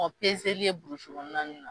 Ɔ ye burusi kɔnɔna nin na.